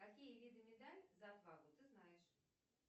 какие виды медаль за отвагу ты знаешь